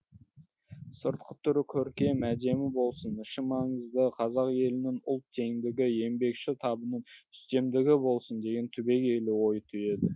сыртқы түрі көркем әдемі болсын іші маңызды қазақ елінің ұлт теңдігі еңбекші табының үстемдігі болсын деген түбегейлі ой түйеді